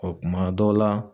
kuma dɔw la